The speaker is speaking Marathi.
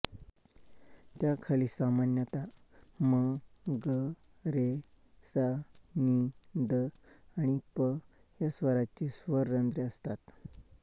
त्याखाली सामान्यतः म ग रे सा नी ध आणि प या स्वरांची स्वररंध्रे असतात